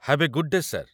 Have a good day, sir!